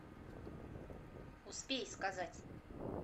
успей сказать